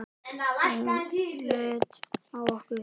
Og hún leit á okkur.